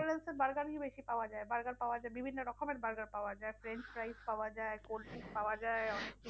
ম্যাকডোনালসে burger ই বেশি পাওয়া যায়। burger পাওয়া যায়, বিভিন্ন রকমের burger পাওয়া যায়, french fries পাওয়া যায়, cold drinks পাওয়া যায় অনেক